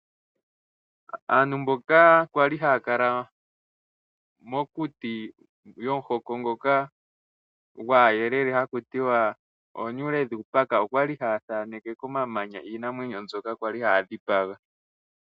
Aantu kwali haya kala mokuti yomuhoko ngoka gwaayelele haku tiwa Oonyule dhUupaka okwali haya thaneke komamanya iinamwenyo mbyoka kwali haya dhipaga.